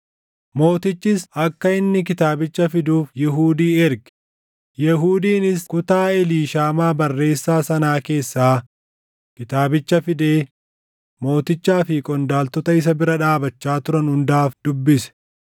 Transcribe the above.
Mootichis akka inni kitaabicha fiduuf Yihuudii erge; Yehuudiinis kutaa Eliishaamaa barreessaa sanaa keessaa kitaabicha fidee mootichaa fi qondaaltota isa bira dhaabachaa turan hundaaf dubbise.